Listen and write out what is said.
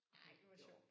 Ej var det sjovt